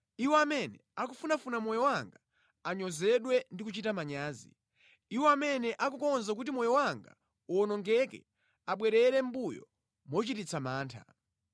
Iwo amene akufunafuna moyo wanga anyozedwe ndi kuchita manyazi; iwo amene akukonza kuti moyo wanga uwonongeke abwerere mʼmbuyo mochititsa mantha.